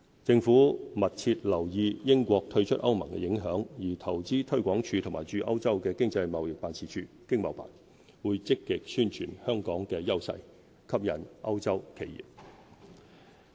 政府密切留意英國退出歐盟的影響，而投資推廣署和駐歐洲的經濟貿易辦事處會積極宣傳香港的優勢，吸引歐洲企業。